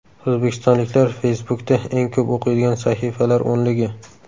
O‘zbekistonliklar Facebook’da eng ko‘p o‘qiydigan sahifalar o‘nligi.